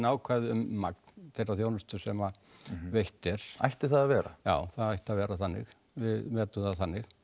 ákvæði um magn þeirrar þjónustu sem veitt er ætti það að vera já það ætti að vera þannig við metum það þannig